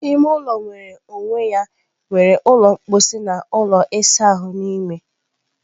Ime ụlọ nwere onwe ya nwere ụlọ mposi na ụlọ ịsa ahụ n'ime.